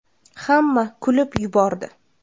Hamma kulib yubordi.